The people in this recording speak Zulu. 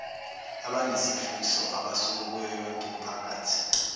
abanesifiso abasuka kuyoyonkeimiphakathi